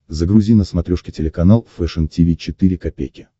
загрузи на смотрешке телеканал фэшн ти ви четыре ка